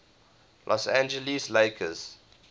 los angeles lakers